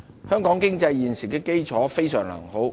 香港經濟現時的基礎非常良好。